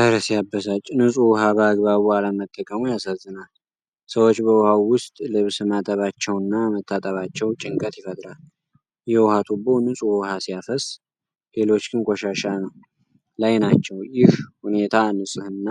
እረ ሲያበሳጭ! ንጹህ ውሃ በአግባቡ አለመጠቀሙ ያሳዝናል። ሰዎች በውሃው ውስጥ ልብስ ማጠባቸውና መታጠባቸው ጭንቀት ይፈጥራል። የውሃ ቱቦው ንጹህ ውሃ ሲያፈስ፣ ሌሎች ግን ቆሻሻ ላይ ናቸው። ይህ ሁኔታ የንጽሕና